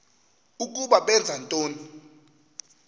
ukuba benza ntoni